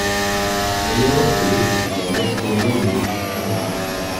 mo lérò pé èyí á jẹ́ kó o lóye ọ̀rọ̀ náà dáadáa